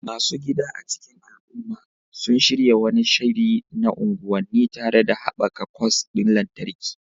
Masu gida a cikin al'umma sun shirya wani shiri na unguwanni, tare da haɓaka kwas ɗin lantarki